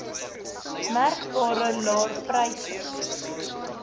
merkbare laer pryse